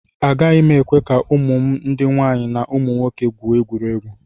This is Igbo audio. Agaghị m ekwe ka ụmụ m ndị nwaanyị na ụmụ nwoke gwuo egwuregwu